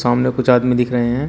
सामने कुछ आदमी दिख रहे हैं।